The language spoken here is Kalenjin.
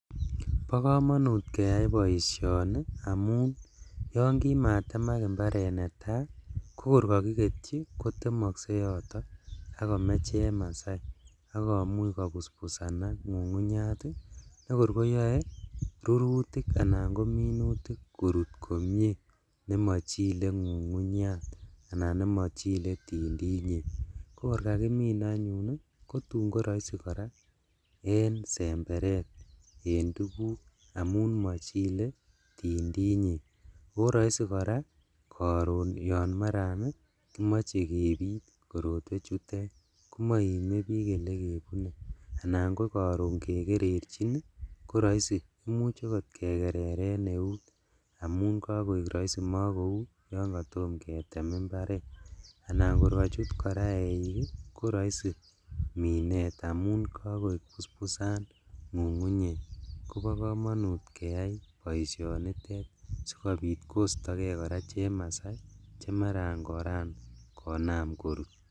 Bokomonut keyai boisioni amun yon kimatemak imbaret netaa, kokor kokiketyi kotemokse yoto ak komee chemasai ak komuch kobusbusanak ngungunyat ii, kokor koyoe rurutik anan kominutik korut komie nemochile ngungunyat anan nemotinye tindinyek, kokor kakimin anyun kotun koroisi koraa en semberet en tuguk amun mochile tindinyek, oo roisi koraa koron yon maran kimoche kebi korotwechutet, komoimebik elekebune anan kokoron yon kikerechin ii koroisi imuch okot kekereren neut amun kokoik roisi mokou yon kotom ketem imbaret anan kor kochut koraa eik ii koroisi minet amun kokoik busbusan ngungunyek, kobo komonut keyai boishonitet sikobit kostokee koraa chemasai chemaran koram konam korut.